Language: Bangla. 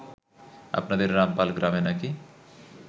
আপনাদের রামপাল গ্রামে নাকি